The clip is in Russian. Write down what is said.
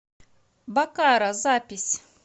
баккара запись